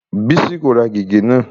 Bísí kò ra gègé náà.